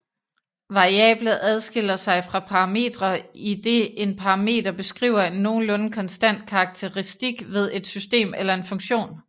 Variable adskiller sig fra parametre idet en parameter beskriver en nogenlunde konstant karakteristik ved et system eller en funktion